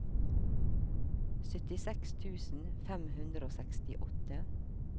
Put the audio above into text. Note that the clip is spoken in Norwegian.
syttiseks tusen fem hundre og sekstiåtte